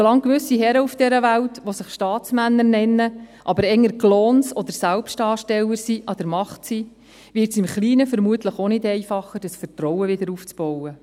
Solange gewisse Herren auf dieser Welt, die sich Staatsmänner nennen, die aber eher Clowns oder Selbstdarsteller sind, an der Macht sind, wird es im Kleinen vermutlich auch nicht einfacher, das Vertrauen wiederaufzubauen.